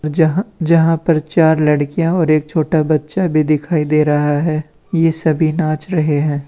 जहां जहां पर चार लड़कियां और एक छोटा बच्चा भी दिखाई दे रहा है ये सभी नाच रहे हैं।